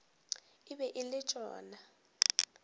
e be e le tšona